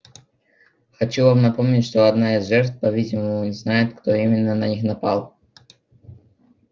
хочу вам напомнить что одна из жертв по-видимому знает кто именно на них напал